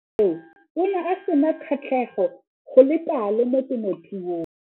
Mo nakong eo o ne a sena kgatlhego go le kalo mo temothuong.